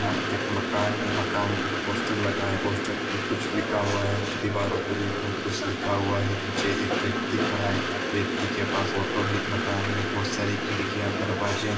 यहा एक मकान है मकान पे पोस्टर लगा है पोस्टर पे कुछ लिखा हुआ है देवरों पे भी बोहोत कुछ लिखा हुआ है नीचे एक ब्यक्ति खारा है ब्यक्ति के पास ऑटो है एक मकान मे बोहोत सारी खिरकिया दरवाजे है ।